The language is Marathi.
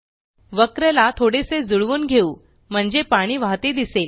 वक्र ला थोडेसे जुळवून घेवू म्हणजे पाणी वाहते दिसेल